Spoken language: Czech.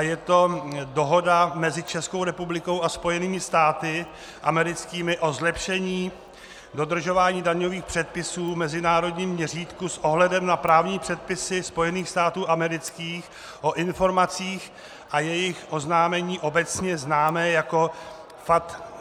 je to Dohoda mezi Českou republikou a Spojenými státy americkými o zlepšení dodržování daňových předpisů v mezinárodním měřítku s ohledem na právní předpisy Spojených států amerických o informacích a jejich oznámení obecně známé jako FATCA.